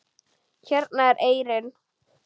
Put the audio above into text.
Hérna er eyrin.